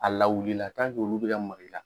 A lawulila olu be ka maka i la